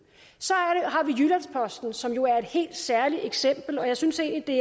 så som jo er et helt særligt eksempel og jeg synes egentlig